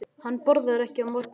Hún borðar ekki á morgnana.